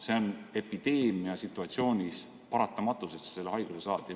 See on epideemiasituatsioonis paratamatu, et sa selle haiguse saad.